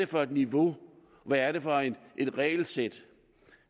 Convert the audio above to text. for et niveau hvad er det for et regelsæt